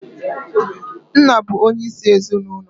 Nna bu onye isi ezinụlọ